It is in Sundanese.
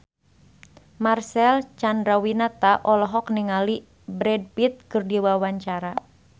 Marcel Chandrawinata olohok ningali Brad Pitt keur diwawancara